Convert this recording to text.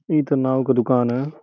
इ त नाउ क दुकान ह।